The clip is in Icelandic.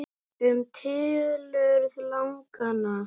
Um tilurð laganna